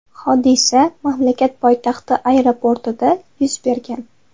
Hodisa mamlakat poytaxti aeroportida yuz bergan.